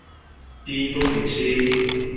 into nge tsheki